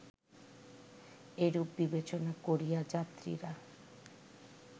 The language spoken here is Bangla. এরূপ বিবেচনা করিয়া যাত্রীরা